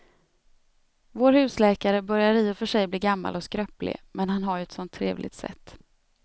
Vår husläkare börjar i och för sig bli gammal och skröplig, men han har ju ett sådant trevligt sätt!